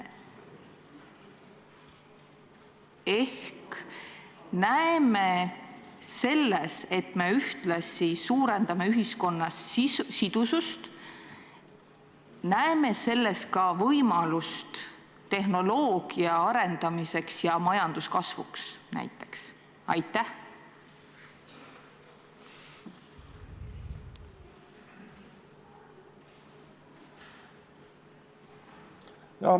Me näeme, et me ühtlasi suurendame siis ühiskonna sidusust, ning näeme selles ka võimalust tehnoloogia arendamiseks ja majanduskasvuks.